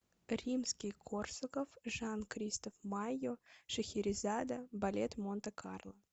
римский корсаков жан кристоф майо шахерезада балет монте карло